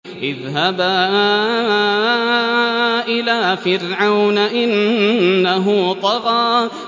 اذْهَبَا إِلَىٰ فِرْعَوْنَ إِنَّهُ طَغَىٰ